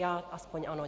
Já aspoň ano.